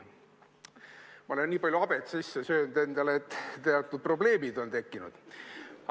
Ma olen endale nii palju habet sisse söönud, et on juba teatud probleemid tekkinud.